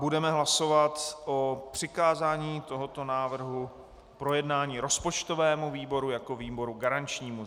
Budeme hlasovat o přikázání tohoto návrhu k projednání rozpočtovému výboru jako výboru garančnímu.